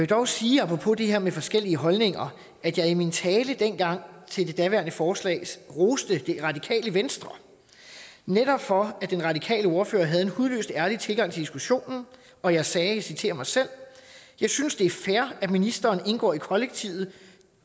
dog sige apropos det her med forskellige holdninger at jeg i min tale dengang til det daværende forslag roste det radikale venstre netop for at den radikale ordfører havde en hudløst ærlig tilgang til diskussionen og jeg sagde og jeg citerer mig selv jeg synes det er fair at ministeren indgår i kollektivet